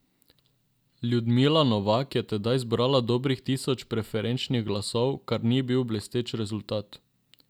Ljudmila Novak je tedaj zbrala dobrih tisoč preferenčnih glasov, kar ni bil blesteč rezultat.